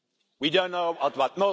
We don't know when.